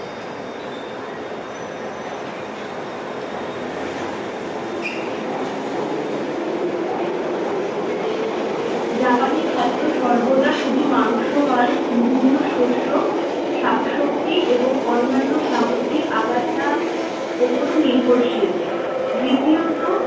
জাপানি খাদ্য সর্বদা শুধু মাংস নয়। বিভিন্ন শস্য, শাকসবজি এবং অন্যান্য সামুদ্রিক আগাছার ওপরও নির্ভরশীল। দ্বিতীয়ত,